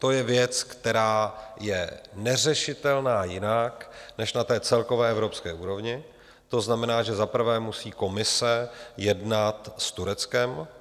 To je věc, která je neřešitelná jinak než na celkové evropské úrovni, to znamená, že za prvé musí Komise jednat s Tureckem.